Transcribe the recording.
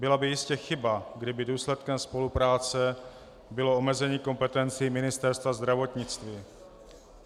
Byla by jistě chyba, kdyby důsledkem spolupráce bylo omezení kompetencí Ministerstva zdravotnictví.